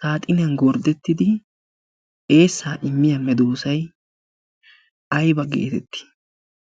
saaxiniyan gorddettidi eessaa immiyaa me doosai ai ba geetettii?